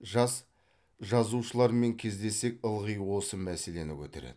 жас жазушылармен кездессек ылғи осы мәселені көтереді